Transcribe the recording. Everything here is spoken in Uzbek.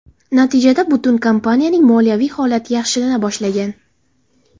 Natijada butun kompaniyaning moliyaviy holati yaxshilana boshlagan.